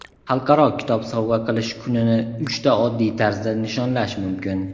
Xalqaro kitob sovg‘a qilish kunini uchta oddiy tarzda nishonlash mumkin.